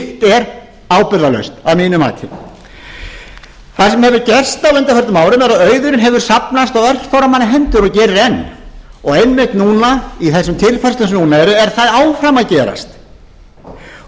slíkt er ábyrgðarlaust að mínu mati það sem hefur gerst á undanförnum árum er að auðurinn hefur safnast á örfárra manna hendur og gerir enn og einmitt núna í þeim tilfærslum sem núna eru er það áfram að gerast og